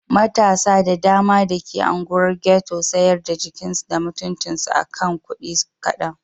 Matasa da dama da ke unguwar Ghetto sayar da jikinsu da mutuncinsu a kan kudi kadan.